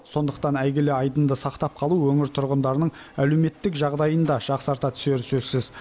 сондықтан әйгілі айдынды сақтап қалу өңір тұрғындарының әлеуметтік жағдайын да жақсарта түсері сөзсіз